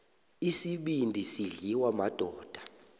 isibindi sidliwa madoda